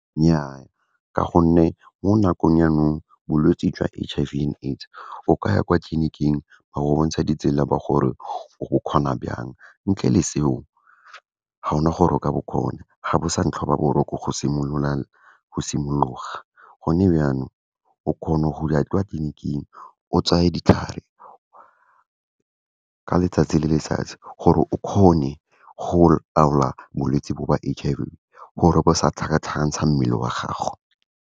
Nnyaa, ka gonne mo nakong jaanong bolwetse jwa H_I_V and AIDS, o ka ya kwa tleliniking wa ba bontsha ditsela, ba gore o bo kgona byang, ntle le seo ga ona gore o ka bo kgona, ga bo sa ntlhobaboroko go simologa. Gone byaanong, o kgona go ya kwa tleliniking o tseye ditlhare, ka letsatsi le letsatsi, gore o kgone go laola bolwetse bo ba H_I_V, gore bo sa tlhakatlhakantsha mmele wa gago.